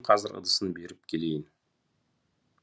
мен қазір ыдысын беріп келейін